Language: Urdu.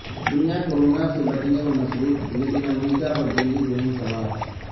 دنیا کورونا سے بچنے میں مصروف لیکن امریکہ پر جنگی جنون سوار